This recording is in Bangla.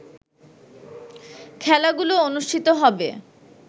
খেলাগুলো অনুষ্ঠিত হবে